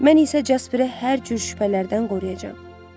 Mən isə Jasperi hər cür şübhələrdən qoruyacam.